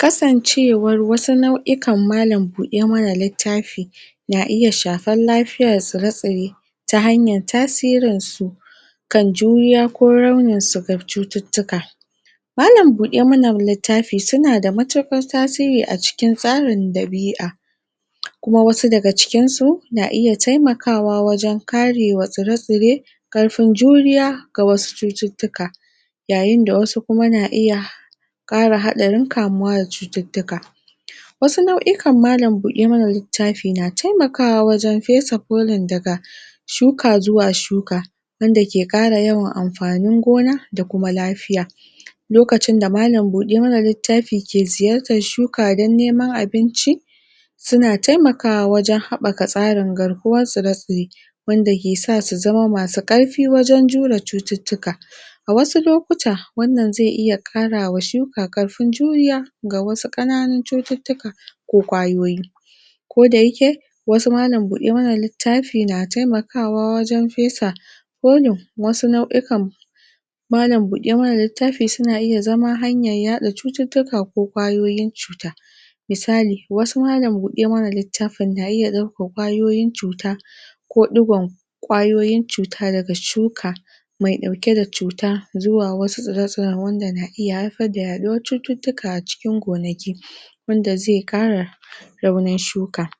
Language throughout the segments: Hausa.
Kasancewar wasu nau'ikan malan buɗe mana littafi na iya shafar lafiyar tsire-tsire ta hanyan tasirin su kan juriya ko rauni shigar cututtuka Malan buɗe mana littafi suna da matuƙar tasiri a cikin tsarin ɗabi'a kuma wasu daga cikin su, na iya taimakawa wajen karema tsire-tsire ƙarfin juriya ga wasu cututtuka. yayin da wasu kuma na iya kare haɗarin kamuwa da cututtuka. wasu nau'ikan malan buɗe mana littafi na taimakawa wajen fesa ƙunan daga shuka zuwa shuka wanda ke ƙara yawan amfanin gona da kuma lafiya. Lokacin da malan buɗe mana littafi ke ziyartar shuka dan neman abinci, suna taimakawa wajen haɓɓaka tsarin garkuwar tsire-sire wanda kesa su zama masu ƙarfi wajen jure cututtuka. A Wasu lokuta wannan zai iya ƙarawa shuka ƙarfin juriya ga wasu ƙananun cututtuka ko ƙwayoyi. Ko dayake, wasu malan buɗe mana littafi na taimakawa wajen fesa wasu nau'ikan malan buɗe mana littafi suna iya zama hanyan yaɗa cututtuka ko ƙwayoyin cuta. Misali wasu malan buɗe mana littafin na iya ɗaukan ƙwayoyin cuta ko ɗigon ƙwayoyin cuta daga shuka mai ɗauke da cuta zuwa wasu tsire-tsiren da na iya haifar da yaɗuwar cututtuka a cikin gonaki. wanda zai ƙara raunin shuka.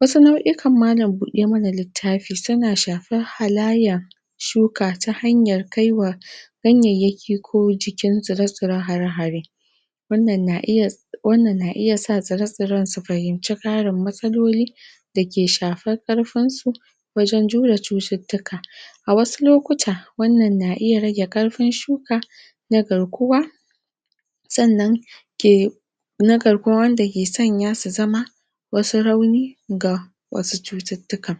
wasu nau'ikan malan buɗe mana littafi suna shafar halayyan shuka ta hanyar kaiwa ganyayyaki ko jikin tsire-tsire hare-hare. wannan na iya wannan na iya sa tsire-tsiren su fahimci ƙarin matsaloli dake shafar ƙarfin su wajen jure cututtuka. A wasu lokuta wannan na iya rage ƙarfin shuka na garkuwa sannan na garkuwa wanda ke sanya su zama wasu rauni ga wasu cututtuka.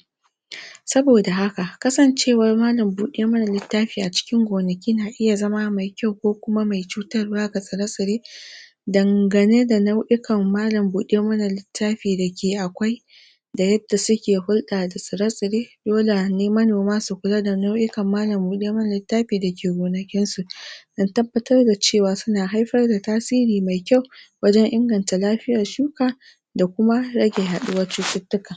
Saboda haka kasancewar malan buɗe mana littafi a cikin gonaki na iya zama mai kyau ko kuma mai cutar wa ga tsire-tsire dangane da nau'ikan malan buɗe mana littafi dake akwai da yadda suke hulɗa da tsire-tsire dole ne manoma su kula da nau'ikan malan buɗe mana littafi dake gonakin su. dan tabbatar da cewa suna haifar da tasiri mai kyau wajen inganta lafiyar shuka da kuma rage yaɗuwar cututtuka.